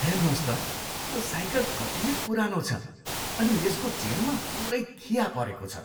हेर्नुहोस् त, त्यो साइकल कति पुरानो छ अनि यसको चेनमा पुरै खिया परेको छ।